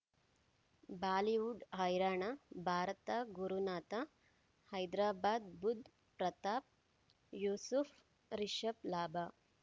Bollywood ಹೈರಾಣ ಭಾರತ ಗುರುನಾಥ ಹೈದರಾಬಾದ್ ಬುಧ್ ಪ್ರತಾಪ್ ಯೂಸುಫ್ ರಿಷಬ್ ಲಾಭ